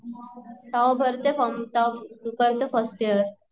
तेव्हा भरते फॉर्म तेव्हा करते फस्ट यियर